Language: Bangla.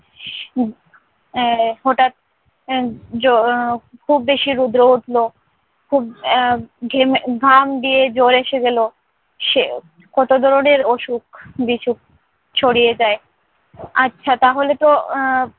আহ হঠাৎ আহ জ~ খুব বেশি রোদে উঠল, খুব আহ ঘেমে ঘাম দিয়ে জ্বর এসে গেল, সে কত ধরনের অসুখ-বিসুখ ছড়িয়ে যায়। আচ্ছা তাহলেতো আহ